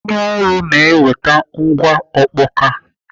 Onye ọrụ na-eweta ngwa ọkpọka.